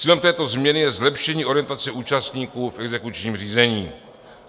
Cílem této změny je zlepšení orientace účastníků v exekučním řízení.